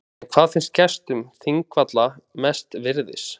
En hvað finnst gestum þingvalla mest virðis?